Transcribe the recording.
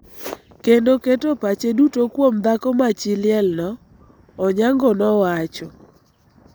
kendo keto pache duto kuom dhako ma chi liel no, Onyango nowacho.